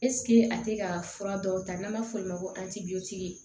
a tɛ ka fura dɔw ta n'an b'a fɔ olu ma ko